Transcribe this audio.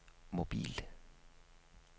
mobil